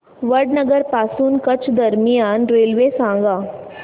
वडनगर पासून कच्छ दरम्यान रेल्वे सांगा